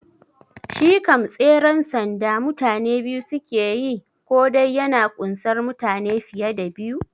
Shi kam tseren sanda mutane biyu suke yi ko dai yana kunsar mutane fiye da biyu?